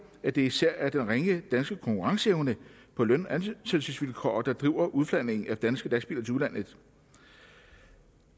at det især er den ringe danske konkurrenceevne på løn og ansættelsesvilkår der driver udflagningen af danske lastbiler til udlandet